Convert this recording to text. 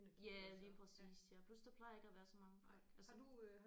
Ja lige præcis ja plus der plejer ikke at være så mange folk